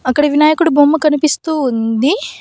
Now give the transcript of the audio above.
అక్కడ వినాయకుడి బొమ్మ కనిపిస్తూ ఉంది.